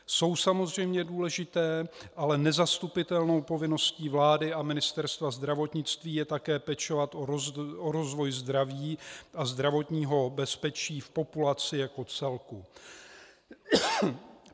Jsou samozřejmě důležité, ale nezastupitelnou povinností vlády a Ministerstva zdravotnictví je také pečovat o rozvoj zdraví a zdravotního bezpečí v populaci jako celku.